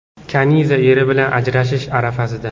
Kaniza eri bilan ajrashish arafasida?!